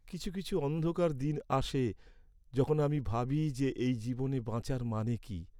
কিছু কিছু অন্ধকার দিন আসে, যখন আমি ভাবি যে এই জীবনে বাঁচার মানে কী?